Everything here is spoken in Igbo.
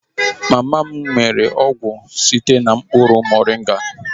Mama m mere ọgwụ site na mkpụrụ moringa